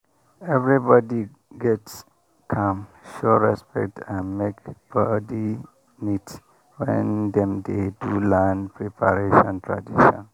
everybody gats calm show respect and make body neat when dem dey do land preparation tradition.